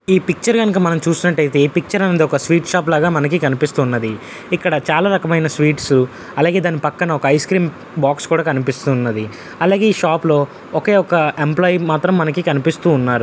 Picture గనుక చూసినట్టు అయితే ఈ పిక్చర్ యందు ఒక స్వీట్ షాప్ లాగా మనకు కనిపిస్తుంది ఇక్కడ చాలా రకమైన స్వీట్స్ అలాగే దాని పక్కన ఐస్ క్రీమ్ బాక్స్ కూడా కనిపిస్తూ ఉన్నది అలాగే ఈ షాపు ఒకే ఒక్క ఎంప్లాయ్ మాత్రం మనకు కనిపిస్తు ఉన్నారు.